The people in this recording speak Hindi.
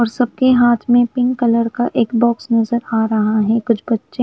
और सबके हाथ में एक पिंक कलर का बॉक्स नज़र आरहा है कुछ बच्चे--